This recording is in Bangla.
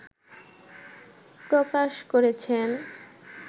প্রকাশ করেছেন